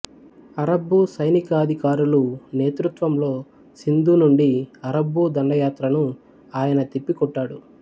అరబ్బు సైనికాధికారులు నేతృత్వంలో సింధు నుండి అరబ్బు దండయాత్రను ఆయన తిప్పికొట్టాడు